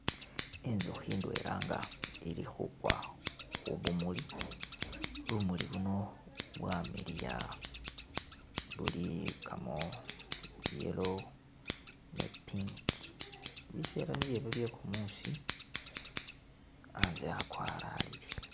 Inzukhi idwela nga ili khugwa khubumuli, bumuli buno bwamiliya, buligamo yellow ni pink bisele niye bwo bye'gumusi hanze hagwalalile.